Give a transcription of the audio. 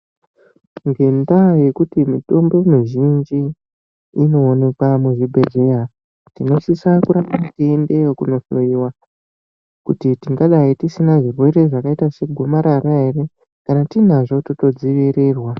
Ngenda yekuti mitombo mizhinji ino onekwa mu zvibhedhleya tinosisa kuramba yei endeyo kuno hloyiwa kuti tingadai tisina zvirwere zvakaita se gomarara ere kana tinazvo toto dzivirirwa.